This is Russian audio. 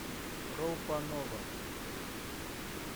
роупа нова